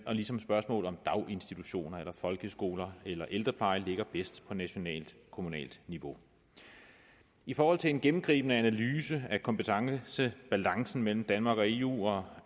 ligesom spørgsmål om daginstitutioner eller folkeskoler eller ældrepleje ligger bedst på nationalt kommunalt niveau i forhold til en gennemgribende analyse af kompetencebalancen mellem danmark og eu og